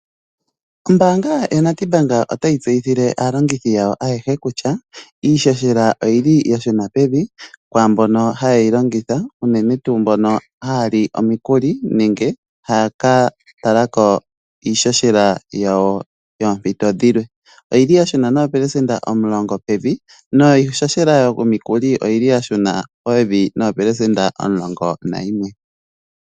Ombaanga yaNedbank otayi tseyithile aalongithi yawo ayehe kutya iihohela oyili ya shuna pevi kwaambono hayeyi longitha unene tuu mbono haya li omikuli nenge haya ka tala ko iihohela yawo yoompito dhilwe. Oyili ya shuna pevi noopelesenda omulongo niihohela yomikuli oyili ya shuna pevi no11%.